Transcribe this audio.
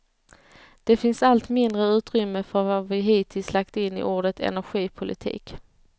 Det finns allt mindre utrymme för vad vi hittills lagt in i ordet energipolitik.